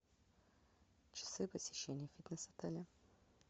часы посещения фитнес отеля